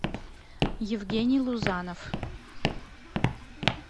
евгений лузанов